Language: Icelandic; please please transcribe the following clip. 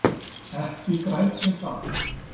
Ekki græt ég það.